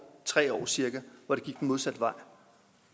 tre år cirka hvor det gik den modsatte vej